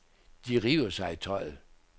De river sig i tøjet.